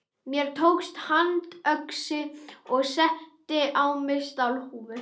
Tók mér handöxi og setti á mig stálhúfu.